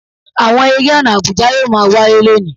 Awọn ere ọna àbùjá yoo maa waye loni